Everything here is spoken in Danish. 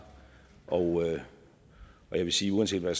og jeg vil sige at uanset hvad